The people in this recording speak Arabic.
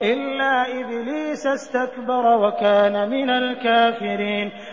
إِلَّا إِبْلِيسَ اسْتَكْبَرَ وَكَانَ مِنَ الْكَافِرِينَ